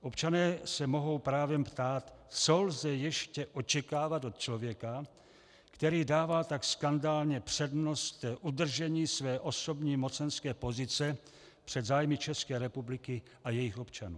Občané se mohou právem ptát, co lze ještě očekávat od člověka, který dává tak skandálně přednost udržení své osobní mocenské pozice před zájmy České republiky a jejích občanů.